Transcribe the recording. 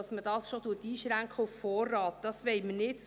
Dass man diesen auf Vorrat einschränkt, wollen wir nicht;